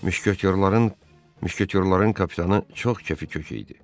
Müşketyorların, müşkütyorların kapitanı çox kefi kök idi.